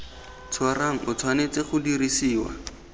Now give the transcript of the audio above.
tshwarang o tshwanetse go dirisiwa